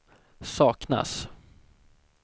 saknas